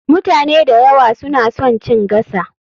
Mutane da yawa suna son chin gasa.